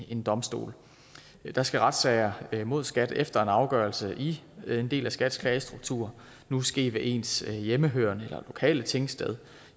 en domstol der skal retssager mod skat efter en afgørelse i en del af skats klagestruktur nu ske ved ens hjemmehørende eller lokale tingsted